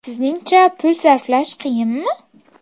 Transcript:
Sizningcha pul sarflash qiyinmi?